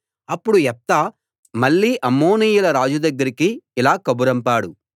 అప్పుడు యెఫ్తా మళ్ళీ అమ్మోనీయుల రాజు దగ్గరికి ఇలా కబురంపాడు